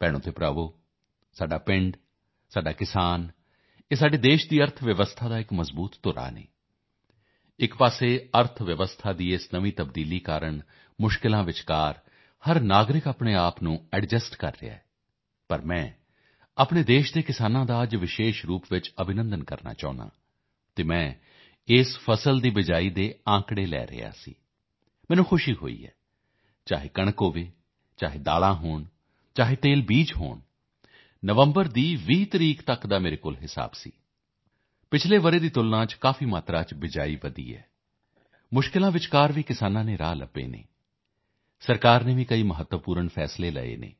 ਭਾਈਓਭੈਣੋਂ ਸਾਡਾ ਪਿੰਡ ਸਾਡਾ ਕਿਸਾਨ ਇਹ ਸਾਡੇ ਦੇਸ਼ ਦੀ ਅਰਥ ਵਿਵਸਥਾ ਦੀ ਇੱਕ ਮਜ਼ਬੂਤ ਧੁਰੀ ਹਨ ਇੱਕ ਤਰਫ਼ ਅਰਥਵਿਵਸਥਾ ਦੇ ਇਸ ਨਵੇਂ ਬਦਲਾਅ ਕਾਰਨ ਕਠਿਨਾਈਆਂ ਦੇ ਵਿਚਕਾਰ ਹਰ ਕੋਈ ਨਾਗਰਿਕ ਆਪਣੇ ਆਪ ਨੂੰ ਐਡਜਸਟ ਕਰ ਰਿਹਾ ਹੈ ਪਰ ਮੈਂ ਆਪਣੇ ਦੇਸ਼ ਦੇ ਕਿਸਾਨਾਂ ਦਾ ਅੱਜ ਵਿਸ਼ੇਸ਼ ਰੂਪ ਤੋਂ ਅਭਿਨੰਦਨ ਕਰਨਾ ਚਾਹੁੰਦਾ ਹਾਂ ਅਤੇ ਮੈਂ ਇਸ ਫਸਲ ਦੀ ਬਿਜਾਈ ਦੇ ਅੰਕੜੇ ਲੈ ਰਿਹਾ ਸੀ ਮੈਨੂੰ ਖੁਸ਼ੀ ਹੋਈ ਚਾਹੇ ਕਣਕ ਹੋਵੇ ਚਾਹੇ ਦਾਲਾਂ ਹੋਣ ਚਾਹੇ ਤਿਲ ਹੋਣ ਨਵੰਬਰ ਦੀ 20 ਤਰੀਕ ਤੱਕ ਦਾ ਮੇਰੇ ਕੋਲ ਹਿਸਾਬ ਸੀ ਪਿਛਲੇ ਸਾਲ ਦੀ ਤੁਲਨਾ ਵਿੱਚ ਕਾਫ਼ੀ ਮਾਤਰਾ ਵਿੱਚ ਬਿਜਾਈ ਵਧੀ ਹੈ ਕਠਿਨਾਈਆਂ ਦੇ ਵਿਚਕਾਰ ਵੀ ਕਿਸਾਨ ਨੇ ਰਸਤੇ ਲੱਭੇ ਹਨ ਸਰਕਾਰ ਨੇ ਵੀ ਕਈ ਮਹੱਤਵਪੂਰਨ ਫੈਸਲੇ ਕੀਤੇ ਹਨ